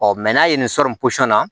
n'a ye nin sɔri na